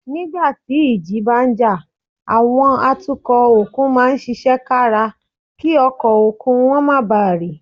Nígbà tí ìjì bá ń jà, àwọn atukọ̀ òkun máa ń ṣiṣẹ́ kára kí ọkọ̀ òkun wọn má bàa rì